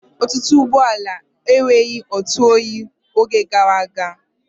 Ọtụtụ ụgbọala enweghị ntụoyi n'oge gara aga.